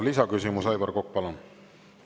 Lisaküsimus, Aivar Kokk, palun!